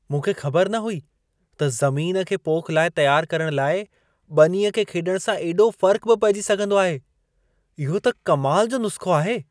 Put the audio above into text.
मूंखे ख़बर न हुई त ज़मीन खे पोख लाइ तियार करण लाइ ॿनीअ खे खेॾण सां एॾो फ़र्क़ बि पइजी सघंदो आहे। इहो त कमाल जो नुस्ख़ो आहे!